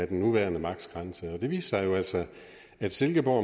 den nuværende maksgrænse og det viste sig jo altså at silkeborg